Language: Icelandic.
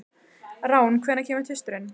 Rán, hvenær kemur tvisturinn?